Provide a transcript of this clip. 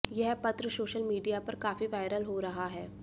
यह पत्र social media पर काफी वायरल हो रहा है